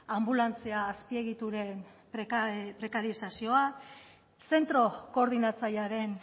anbulantzia azpiegituren prekarizazioa zentro koordinatzailearen